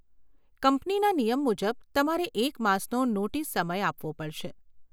કંપનીના નિયમ મુજબ, તમારે એક માસનો નોટીસ સમય આપવો પડશે.